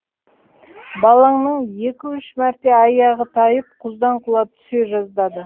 балаңның екі үш мәрте аяғы тайып құздан құлап түсе жаздады